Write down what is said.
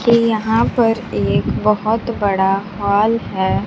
के यहां पर एक बहोत बड़ा मॉल है।